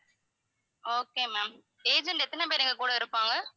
okay ma'am agent எத்தனை பேர் எங்க கூட இருப்பாங்க?